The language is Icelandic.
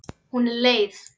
Hún er leið.